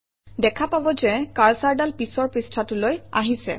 দেখা পাব যে কাৰ্চৰডাল পিছৰ পৃষ্ঠাটোলৈ আহিছে